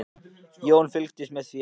Jón fylgdist með því af áhuga.